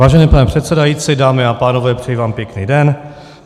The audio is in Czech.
Vážený pane předsedající, dámy a pánové, přeji vám pěkný den.